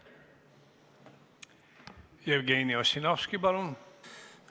Jevgeni Ossinovski, palun!